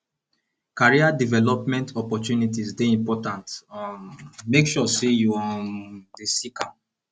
career development opportunities dey important um make sure say you um dey seek am